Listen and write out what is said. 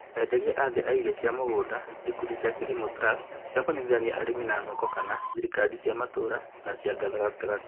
Enderia athĩ a irio cia mũgunda, ikundi cia KILIMO trust cia kunyitithania arĩmi na thoko kana thirikali cia matũra na cia gatagati